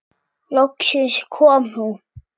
Loksins kom hún.